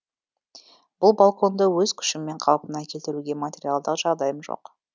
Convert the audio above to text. бұл балконды өз күшіммен қалпына келтіруге материалдық жағдайым жоқ